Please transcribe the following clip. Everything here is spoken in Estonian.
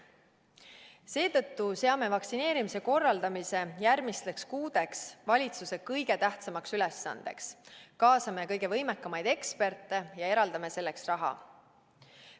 Seetõttu seame vaktsineerimise korraldamise järgmisteks kuudeks valitsuse kõige tähtsamaks ülesandeks, kaasame kõige võimekamaid eksperte ja eraldame selleks raha.